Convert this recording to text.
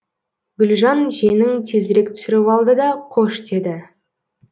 гүлжан жеңін тезірек түсіріп алды да қош деді